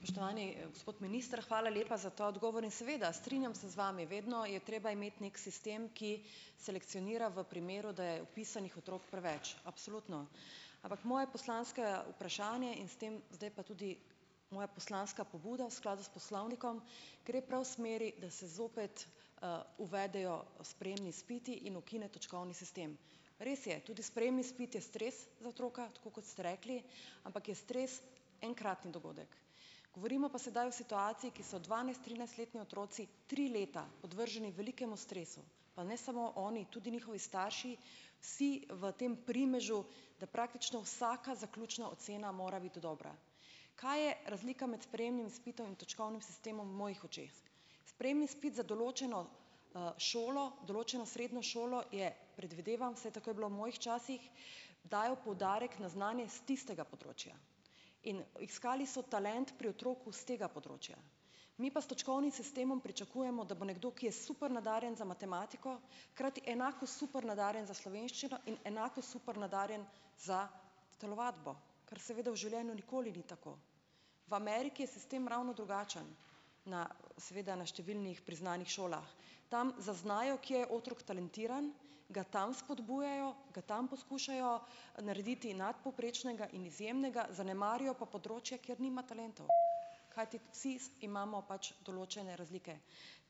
Spoštovani, gospod minister. Hvala lepa za ta odgovor in seveda, strinjam se z vami. Vedno je treba imeti neki sistem, ki selekcionira v primeru, da je vpisanih otrok preveč. Absolutno, ampak moje poslansko vprašanje in s tem zdaj pa tudi moja poslanska pobuda v skladu s poslovnikom gre prav v smeri, da se zopet, uvedejo sprejemni izpiti in ukine točkovni sistem. Res je, tudi sprejemni izpit je stres za otroka, tako kot ste rekli, ampak je stres enkratni dogodek. Govorimo pa sedaj o situaciji, ki so dvanajst-, trinajstletni otroci tri leta podvrženi velikemu stresu. Pa ne samo oni, tudi njihovi starši, vsi v tem primežu, da praktično vsaka zaključna ocena mora biti dobra. Kaj je razlika med sprejemnim izpitom in točkovnim sistemom v mojih očeh? Sprejemni izpit za določeno, šolo, določeno srednjo šolo je, predvidevam, vsaj tako je bilo v mojih časih, dajo poudarek na znanje s tistega področja. In iskali so talent pri otroku s tega področja. Mi pa s točkovnim sistemom pričakujemo, da bo nekdo, ki je super nadarjen za matematiko, hkrati enako super nadarjen za slovenščino in enako super nadarjen za telovadbo. Ker seveda v življenju nikoli ni tako. V Ameriki je sistem ravno drugačen. Na seveda na številnih priznanih šolah. Tam zaznajo kje je otrok talentiran, ga tam spodbujajo, ga tam poskušajo narediti nadpovprečnega in izjemnega, zanemarijo pa področje, kjer nima talentov. Kajti vsi imamo pač določene razlike.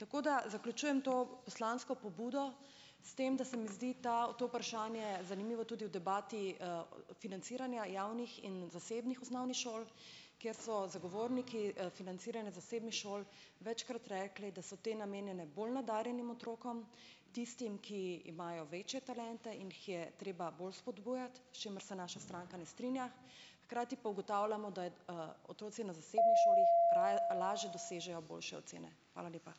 Tako da zaključujem to poslansko pobudo s tem, da se mi zdi ta to vprašanje zanimivo tudi v debati, financiranja javnih in zasebnih osnovnih šol, kjer so zagovorniki, financiranja zasebnih šol večkrat rekli, da so te namenjene bolj nadarjenim otrokom. Tistim, ki imajo večje talente in jih je treba bolj spodbujati, s čimer se naša stranka ne strinja. Hkrati pa ugotavljamo, da je, otroci na zasebni šoli lažje dosežejo boljše ocene. Hvala lepa.